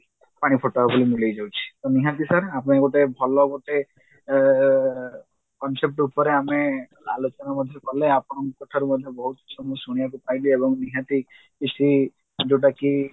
ପାଣିଫୋଟୋକା ଭଳି ମିଳେଇଯାଉଛି ତ ନିହାତି sir ଆପଣ ଗୋଟେ ଭଲ ଗୋଟେ ଏ concept ଉପରେ ଆମେ ଆଲୋଚନା ମଧ୍ୟ କଲେ ଆପଣଙ୍କ ଠାରୁ ମଧ୍ୟ ବହୁତ ଜିନିଷ ମୁଁ ଶୁଣିବାକୁ ପାଇଲି ଏବଂ ନିହାତି କିଛି ଯଉଟାକି